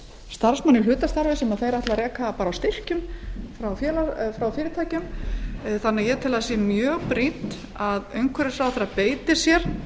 starfsmann í hlutastarfi sem þeir ætla að reka bara á styrkjum frá fyrirtækjum þannig að ég tel að það sé mjög brýnt að umhverfisráðherra beiti sér